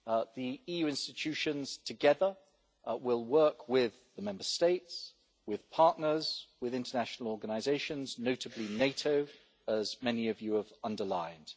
The EU institutions together will work with the Member States, with partners and with international organisations, notably NATO, as many of you have underlined.